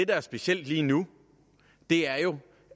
der er specielt lige nu er jo